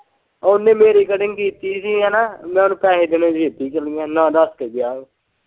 ਉਹਨੇ ਮੇਰੀ ਕਟਿੰਗ ਕੀਤੀ ਸੀ ਹੈਨਾ ਮੈਂ ਉਹਨੂੰ ਪੈਹੇ ਦੇਣੇ ਸੀ ਇੱਦੇ ਚੱਲ ਗਿਆ ਨਾ ਦੱਸ ਕੇ ਗਿਆ ਉਹ।